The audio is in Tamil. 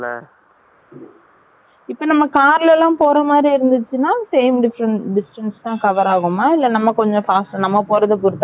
இபொ நம்ம car ல போர மாரி இருந்துச்சுன same distance தான cover aaguma இல்ல நம்ம போரது பொருத்து தான் இல்லயா